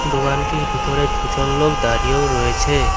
দোকানটির ভিতরে দুজন লোক দাঁড়িয়েও রয়েছে।